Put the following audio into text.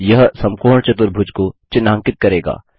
यह समकोण चतुर्भुज को चिन्हांकित करेगा